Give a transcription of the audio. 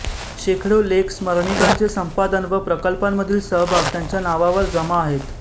शेकडो लेख स्मरणिकांचे संपादन व प्रकल्पांमधील सहभाग त्यांच्या नावावर जमा आहेत